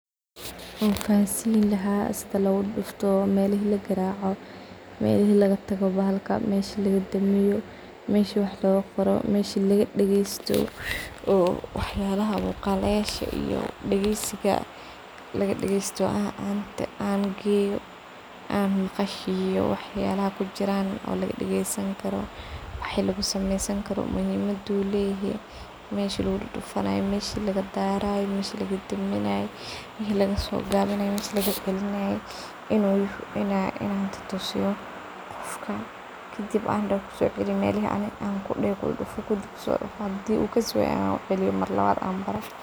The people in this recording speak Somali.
Wan fahansin lahaa mela lugudufto, sida lo garaco, melahi lagatago bahalka, melahi lagadamiyo , meshi wax lagaqoro, meshi lagadageysto. dageysiga lagadageysto an ugeyo an maqashiyo waxyalaha kujiran , waxs dhan tutusaah , melahi lagadaray melahi lagadaminay , melahi codka kor lguqaday , melahi lagamamulo waxas dhan in an ushego dar an daho , hdii uu fahmi wayo an dub utusiyo hadi uu kasiwayo an uguceliyo mar lawad an baro.